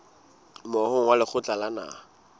moahong wa lekgotla la naha